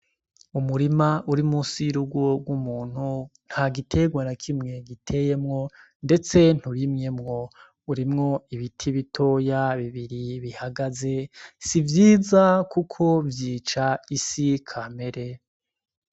Umurima uri munsi y'urugo rw'umuntu, ntagiterwa na kimwe giteyemwo ndetse nturimyemWo. Urimwo ibiti bitoya bibiri bihagaze, sivyiza kuko vyica isi kamere.